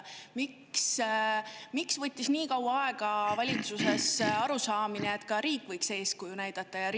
Miks võttis valitsuses nii kaua aega, et aru saada, et ka riik võiks eeskuju näidata?